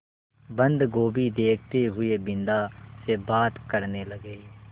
बन्दगोभी देखते हुए बिन्दा से बात करने लगे